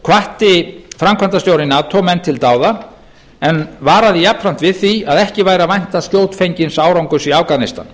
hvatti framkvæmdastjóri nato menn til dáða en varaði jafnframt við því að ekki væri að vænta skjótfengins árangurs í afganistan